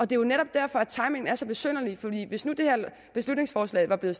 det er jo netop derfor at timingen er så besynderlig for hvis nu det her beslutningsforslag var blevet